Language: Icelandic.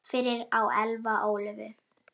Fyrir á Elfa Ólöfu.